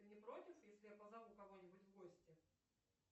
ты не против если я позову кого нибудь в гости